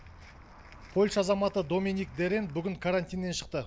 польша азаматы доминик дерен бүгін карантиннен шықты